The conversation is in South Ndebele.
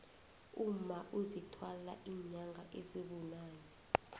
umma uzithwala inyanga ezibunane